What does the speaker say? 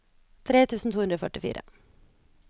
tre tusen to hundre og førtifire